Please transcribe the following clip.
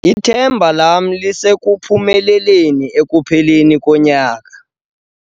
Ithemba lam lisekuphumeleleni ekupheleni konyaka.